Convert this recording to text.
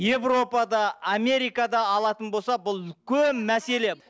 европада америкада алатын болсақ бұл үлкен мәселе